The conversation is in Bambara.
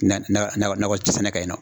Nakɔ sɛnɛ ka